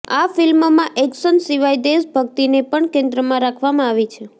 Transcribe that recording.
આ ફિલ્મમાં એક્શન સિવાય દેશ ભક્તિને પણ કેન્દ્રમાં રાખવામાં આવી છે